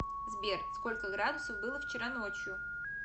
сбер сколько градусов было вчера ночью